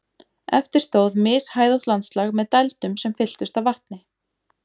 Eftir stóð mishæðótt landslag með dældum sem fylltust af vatni.